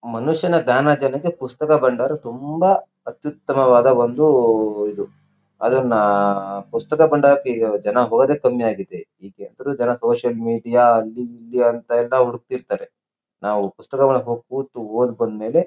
ಮನುಷ್ಯನ ದ್ಯಾನಾರ್ಜನೆಗೆ ಪುಸ್ತಕ ಬಂಡಾರ ತುಂಬಾ ಅತ್ಯುತಮವಾದ ವೊಂದು ಇದು ಅದನ್ನ ಪುಸ್ತಕ ಬಂಡಾರಕ್ಕೆಜನ ಹೋಗೋದೇ ಕಮ್ಮಿ ಆಗಿದೆ. ಜನ ಸೋಶಿಯಲ್ ಮೀಡಿಯಾ ಅಲ್ಲಿ ಇಲ್ಲಿ ಅಂತ ಎಲ್ಲ ಹುಡ್ಕಥ ಇರ್ತರೆ. ನಾವ್ ಪುಸ್ತಕಗಳಲ್ಲಿ ಕೂತು ಒದ್ ಬಂದ್ಮೇಲೆ--